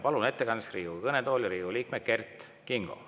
Palun ettekandeks Riigikogu kõnetooli Riigikogu liikme Kert Kingo.